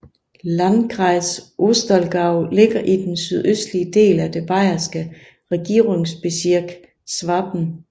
Landkreis Ostallgäu ligger i den sydøstlige del af det bayerske Regierungsbezirk Schwaben